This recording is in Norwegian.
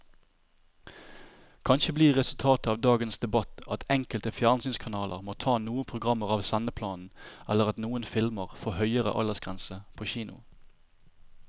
Kanskje blir resultatet av dagens debatt at enkelte fjernsynskanaler må ta noen programmer av sendeplanen eller at noen filmer får høyere aldersgrense på kino.